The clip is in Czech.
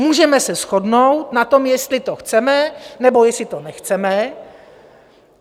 Můžeme se shodnout na tom, jestli to chceme, nebo jestli to nechceme.